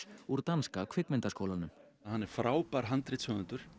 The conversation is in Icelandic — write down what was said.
úr danska kvikmyndaskólanum hann er frábær handritshöfundur